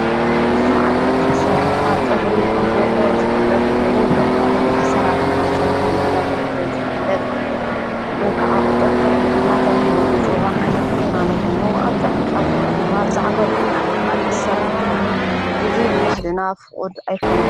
ብዙዙኅ ዓይነት ኣሠራርኃ ጸጕሪ ከም ዘሎ ዝፍለጥ ኮይኑ ዘምናዊ ኣሠራርኃ ጸጕሪ እናተውህለ ዘፍለጥ ከዓ ቝጥርጥር እናተብህለ ዘጽዋዕ ዓይነት ቊናነኾኑ ኣብ ጻፍ ጻፉ ድማ ዛዕጐል እናእተኻ ዝእሠር እንትበውን እዙይ ብባሕድና ፍቑድ ኣይኮነን።